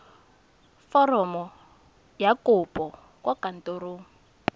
foromo ya kopo kwa kantorong